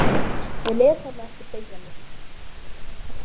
Ég lét hann ekki beygja mig.